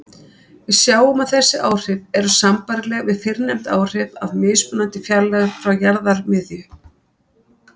Við sjáum að þessi áhrif eru sambærileg við fyrrnefnd áhrif af mismunandi fjarlægð frá jarðarmiðju.